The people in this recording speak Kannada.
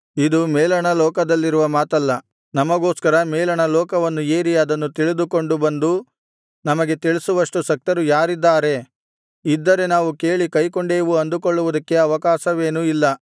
ಇದು ಮೇಲಣ ಲೋಕದಲ್ಲಿರುವ ಮಾತಲ್ಲ ನಮಗೋಸ್ಕರ ಮೇಲಣ ಲೋಕವನ್ನು ಏರಿ ಅದನ್ನು ತಿಳಿದುಕೊಂಡು ಬಂದು ನಮಗೆ ತಿಳಿಸುವಷ್ಟು ಶಕ್ತರು ಯಾರಿದ್ದಾರೆ ಇದ್ದರೆ ನಾವು ಕೇಳಿ ಕೈಕೊಂಡೇವು ಅಂದುಕೊಳ್ಳುವುದಕ್ಕೆ ಅವಕಾಶವೇನೂ ಇಲ್ಲ